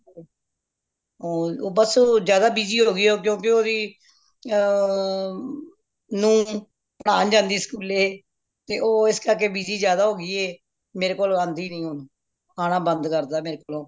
ਹੰ ਬੱਸ ਜ਼ਿਆਦਾ busy ਹੋ ਗਯੀ ਏ ਕਿਉਂਕਿ ਓਹਦੀ ਅ ਨੂੰਹ ਪੜਾਨ ਜਾਂਦੀ ਏ school ਤੇ ਉਹ ਇਸ ਕਰਕੇ busy ਜ਼ਿਆਦਾ ਹੋ ਗਯੀਏ ਮੇਰੇ ਕੋਲ ਆਂਦੀ ਨਹੀਂ ਹੁਣ ਆਣਾ ਬੰਦ ਕਰਤਾ ਮੇਰੇ ਕੋਲ